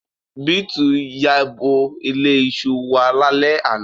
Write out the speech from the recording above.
Beeti yabo ile iṣu wa lale ana